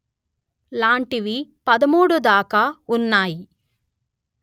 లాంటివి పదమూడుదాకా ఉన్నాయి